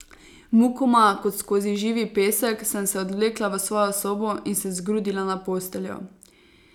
Mukoma, kot skozi živi pesek, sem se odvlekla v svojo sobo, in se zgrudila na posteljo.